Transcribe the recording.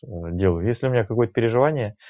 а делаю если у меня какое-то переживание